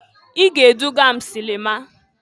I ga-eduga m silima!